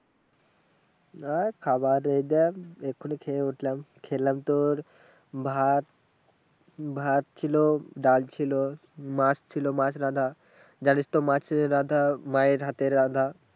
আর খাবার যেটা এক্ষুণি খেয়ে উঠলাম, খেলাম তোর ভাত ভাত ছিলো ডাল ছিলো মাছ ছিলো মাছ রাঁধা যানিসতো মাছের রাঁধা মায়ের হাতের রাঁধা